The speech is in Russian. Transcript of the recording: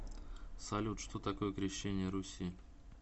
салют что такое крещение руси